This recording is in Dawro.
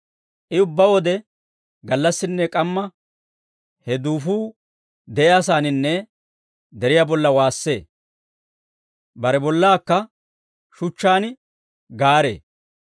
I ubbaa wode gallassinne k'amma, he duufuu de'iyaasaaninne deriyaa bolla waassee; bare bollaakka shuchchaan gaaree.